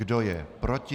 Kdo je proti?